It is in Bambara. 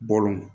Bɔlɔn